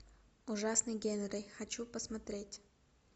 ужасный генри хочу посмотреть